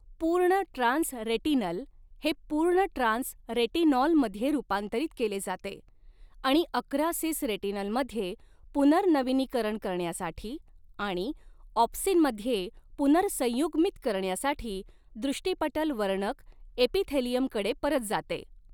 पूर्ण trans retinal हे पूर्ण ट्रान्स रेटिनॉलमध्ये रूपांतरित केले जाते आणि अकरा सिस रेटिनलमध्ये पुनर्नवीनीकरण करण्यासाठी आणि ऑप्सिनमध्ये पुनर्संयुग्मित करण्यासाठी दृष्टिपटल वर्णक एपिथेलियमकडे परत जाते.